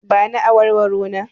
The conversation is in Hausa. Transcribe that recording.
Ba ni awarwaro na!